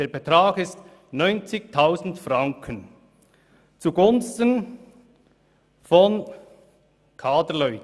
Der Betrag beläuft sich auf 90 000 Franken zugunsten von Kaderleuten.